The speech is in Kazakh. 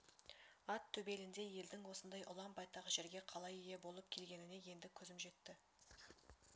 ат төбеліндей елдің осындай ұлан-байтақ жерге қалай ие болып келгеніне енді көзім жетті